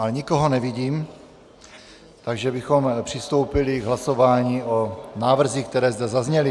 Ale nikoho nevidím, takže bychom přistoupili k hlasování o návrzích, které zde zazněly.